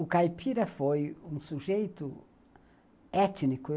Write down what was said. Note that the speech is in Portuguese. O caipira foi um sujeito étnico.